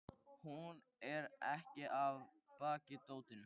Jón Helgason, um skeið forstöðumaður Prestaskólans, síðar prófessor og biskup.